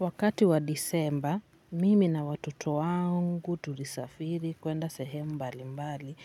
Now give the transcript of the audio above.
Wakati wa Disemba, mimi na watoto wangu tulisafiri kuenda sehemu mbali mbali